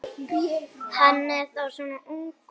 Hann er þá svona ungur.